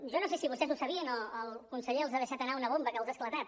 jo no sé si vostès ho sabien o el conseller els ha deixat anar una bomba que els ha esclatat